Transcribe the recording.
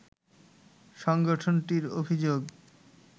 সংগঠনটির অভিযোগ